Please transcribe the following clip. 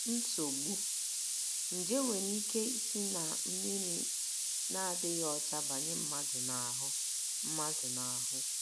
NSOGBU: Nje nwere ike isi ná mmiri na - adịghị ọcha banye mmadụ n’ahụ́ mmadụ n’ahụ́.